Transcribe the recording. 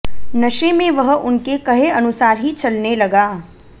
नशे में वह उनके कहे अनुसार ही चलने लगा